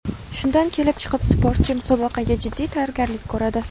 Shundan kelib chiqib, sportchi musobaqaga jiddiy tayyorgarlik ko‘radi.